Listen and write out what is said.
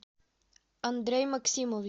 андрей максимович